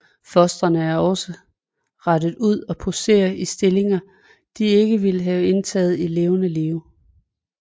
Fostrene er også rettet ud og poseret i stillinger de ikke ville have indtaget i levende live